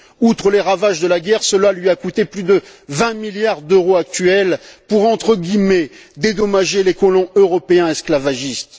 Outre les ravages de la guerre, cela lui a coûté plus de 20 milliards d'euros actuels pour dédommager les colons européens esclavagistes.